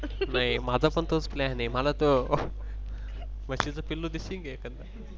नाही माझा पण तोच Plan आहे. मला तर म्हशीचं पिल्लू देशील का एखादं.